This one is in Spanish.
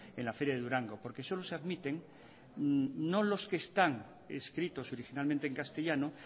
en la feria de durango porque solo se admiten no los que están escritos originalmente en castellano